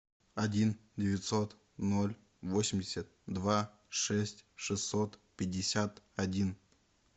один девятьсот ноль восемьдесят два шесть шестьсот пятьдесят один